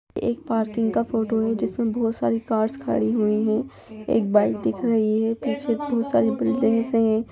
एक पार्किंग का फोटो है जिस में बहुत सारी कारस खड़ी हुई हैं एक बाइक दिख रही है पीछे बहुत सारी बिल्डिंग्स हैं।